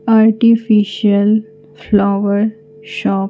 Artificial flower shop.